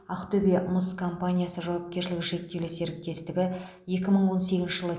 ақтөбе мыс компаниясы жауапкершілігі шектеулі серіктестігі екі мың он сегізінші жылы